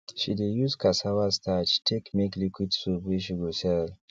she de use cassava starch take make liquid soap wey she go sell